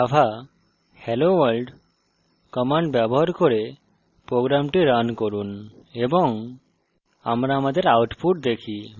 এখন java helloworld command ব্যবহার করে program রান করুন এবং